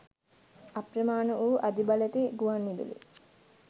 අප්‍රමාණ වූ අධිබලැති ගුවන්විදුලි